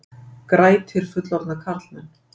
Grætir fullorðna karlmenn